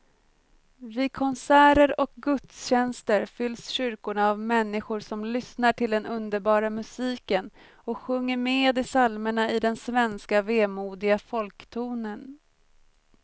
Vid konserter och gudstjänster fylls kyrkorna av människor som lyssnar till den underbara musiken och sjunger med i psalmerna i den svenska vemodiga folktonen.